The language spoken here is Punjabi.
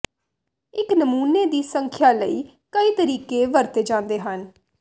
ਇੱਕ ਨਮੂਨੇ ਦੀ ਸੰਖਿਆ ਲਈ ਕਈ ਤਰੀਕੇ ਵਰਤੇ ਜਾਂਦੇ ਹਨ